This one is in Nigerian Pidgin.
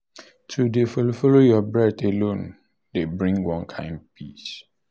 to dey follow follow your breath alone dey bring one kind peace.